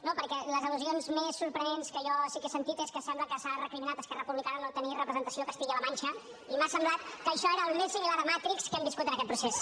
no perquè les al·lusions més sorprenents que jo sí que he sentit és que sembla que s’ha recriminat a esquerra republicana no tenir representació a castilla la mancha i m’ha semblat que això era el més similar a matrix que hem viscut en aquest procés